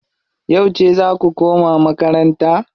Yauce zaa ku koma makaranta?